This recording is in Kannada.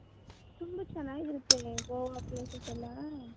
ತುಂಬಾ ಚೆನ್ನಾಗಿರುತ್ತೆ ಗೋವ places ಎಲ್ಲಾ .